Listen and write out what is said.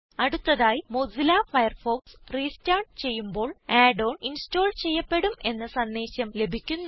അടുത്തതായി Mozilla Firefox restart ചെയ്യുമ്പോൾ add on install ചെയ്യപ്പെടും എന്ന സന്ദേശം ലഭിക്കുന്നു